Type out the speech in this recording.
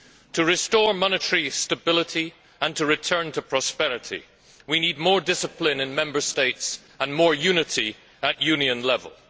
To restore monetary stability and to return to prosperity, we need more discipline in Member States and more unity at Union level.